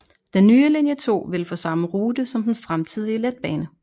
Den nye linje 2 ville få samme rute som den fremtidige letbane